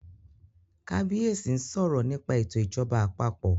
kabiyesi nsọ̀rọ nípa eto ìjọba àpapọ̀